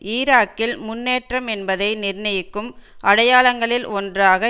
ஈராக்கில் முன்னேற்றம் என்பதை நிர்ணியிக்கும் அடையாளங்களில் ஒன்றாக